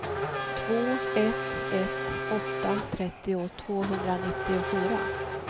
två ett ett åtta trettio tvåhundranittiofyra